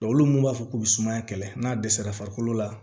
olu mun b'a fɔ k'u bɛ sumaya kɛlɛ n'a dɛsɛra farikolo la